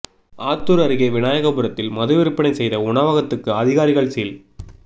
ஆத்தூர் அருகே விநாயகபுரத்தில் மது விற்பனை செய்த உணவகத்துக்கு அதிகாரிகள் சீல்